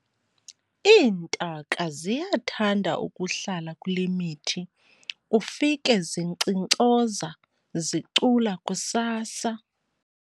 Iintaka ziyathanda ukuhlala kule mithi ufike zinkcinkcoza zicula kusasa.